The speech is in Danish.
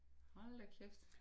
Hold da kæft